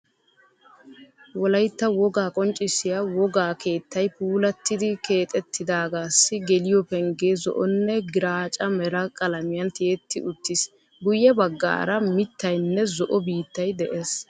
Wolaytta wogaa qonccissiya wogaa keettay puulattidi keexxettidagassi geliyo pengee zo"onne graacca mera qalamiyan tiyetti uttiis. Guye baggaara miittaynne zo"o biittay de'ees.